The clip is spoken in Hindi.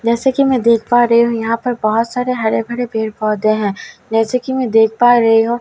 जैसे कि मैं देख पा रही हूं यहां पर बहुत सारे हरे भरे पेड़ पौधे हैं जैसे कि मैं देख पा रहे हूं।